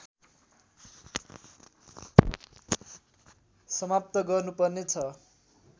समाप्त गर्नुपर्ने छ